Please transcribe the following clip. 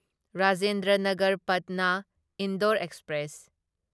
Rajendra Nagar Patna Indore express